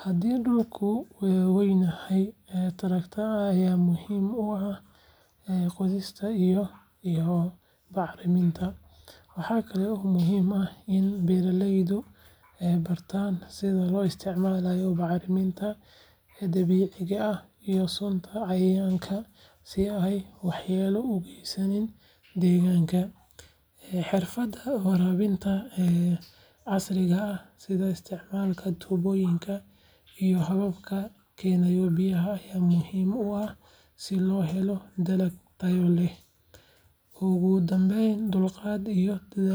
Haddii dhulku weynyahay, traktor ayaa muhiim u ah qodista iyo bacriminta. Waxa kale oo muhiim ah in beeraleydu bartaan sida loo isticmaalo bacriminta dabiiciga ah iyo sunta cayayaanka si aanay waxyeello u geysan deegaanka. Xirfadaha waraabinta casriga ah sida isticmaalka tuubooyinka iyo hababka keydka biyaha ayaa muhiim u ah si loo helo dalag tayo leh. Ugu dambayn, dulqaad iyo dadaal.